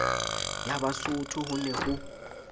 ya basotho ho ne ho